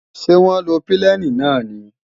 Ṣé wọ́n lo pílènì náà ni?